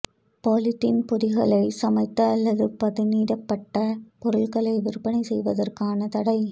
polythene பொதிகளில் சமைத்த அல்லது பதனிடப்பட்ட பொருட்களை விற்பனை செய்வதற்கான தடை